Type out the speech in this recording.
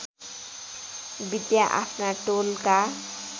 विद्या आफ्ना टोलका